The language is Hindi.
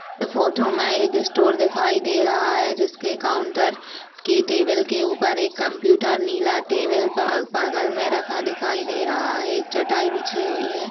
इस फोटो में एक स्टोर दिखाई दे रहा हैजिसके काउंटर के टेबल के ऊपर एक कुम्प्यूटर नीला टेबल ब-बगल में रखा दिखाई दे रहा हैएक चटाई बिछी हुई है।